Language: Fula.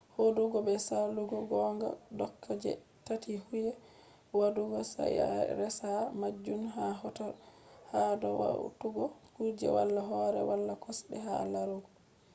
hudugo be salugo gonga doka je tati huyi wadugo sai a resa majun ha hoto. hado hautugo kujeji wala hore wala kosde ha larugo